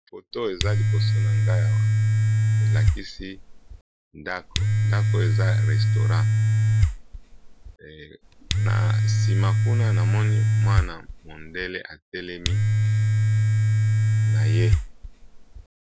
Awa eza restaurant ya ba mindele kombo nango "L' Assiette" tozo mona pe mwasi ya mundele na kati atelemi.